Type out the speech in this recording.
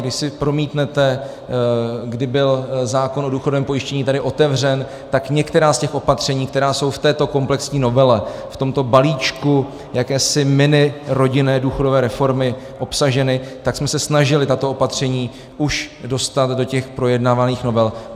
Když si promítnete, kdy byl zákon o důchodovém pojištění tady otevřen, tak některá z těch opatření, která jsou v této komplexní novele, v tomto balíčku jakési minirodinné důchodové reformy obsažena, tak jsme se snažili tato opatření už dostat do těch projednávaných novel.